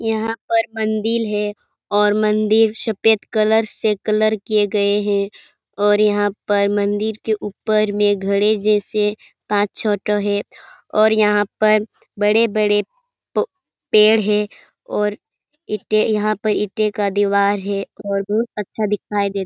यहाँ पर मंदिर है और मंदिर सफेद कलर से कलर किये गए हैं और यहाँ पर मंदिर के ऊपर में घड़े जैसे पाँच छौ ठो है और यहाँ पर बड़े-बड़े प पेड़ हैं और ईटें यहाँ पर ईटें का दिवार है और बहुत अच्छा दिखाई दे --